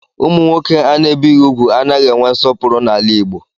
Ụmụ nwoke ana-ebighi úgwù anaghị enwe nsọpụrụ n'ala Igbo